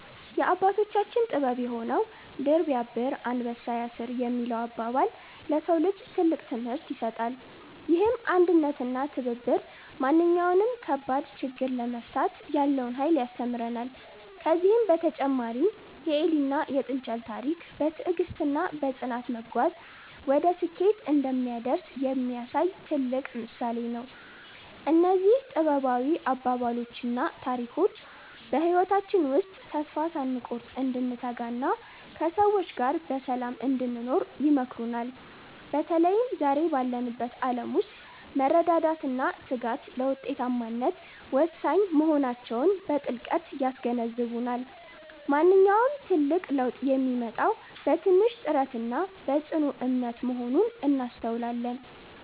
የአባቶቻችን ጥበብ የሆነው "ድር ቢያብር አንበሳ ያስር" የሚለው አባባል፣ ለሰው ልጅ ትልቅ ትምህርት ይሰጣል። ይህም አንድነትና ትብብር ማንኛውንም ከባድ ችግር ለመፍታት ያለውን ኃይል ያስተምረናል። ከዚህም በተጨማሪ የኤሊና የጥንቸል ታሪክ፣ በትዕግስትና በጽናት መጓዝ ወደ ስኬት እንደሚያደርስ የሚያሳይ ትልቅ ምሳሌ ነው። እነዚህ ጥበባዊ አባባሎችና ታሪኮች በህይወታችን ውስጥ ተስፋ ሳንቆርጥ እንድንተጋና ከሰዎች ጋር በሰላም እንድንኖር ይመክሩናል። በተለይም ዛሬ ባለንበት ዓለም ውስጥ መረዳዳትና ትጋት ለውጤታማነት ወሳኝ መሆናቸውን በጥልቀት ያስገነዝቡናል። ማንኛውም ትልቅ ለውጥ የሚመጣው በትንሽ ጥረትና በጽኑ እምነት መሆኑን እናስተውላለን።